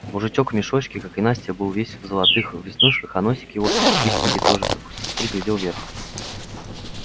мужичок в мешочке как и настя был весь в золотых веснушках а носик его чистенький тоже как у сестры глядел вверх